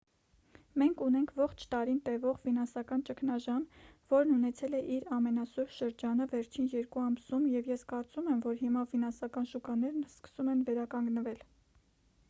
մենք ունենք ողջ տարին տևող ֆինանսական ճգնաժամ որն ունեցել է իր ամենասուր շրջանը վերջին երկու ամսում և ես կարծում եմ որ հիմա ֆինանսական շուկաներն սկսում են վերականգնվել